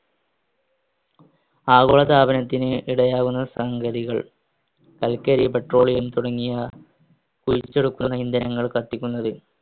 ആഗോളതാപനത്തിന് ഇടയാകുന്ന സംഗതികൾ കൽക്കാരി petroleum തുടങ്ങിയ കത്തിക്കുന്നത്